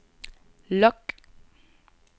log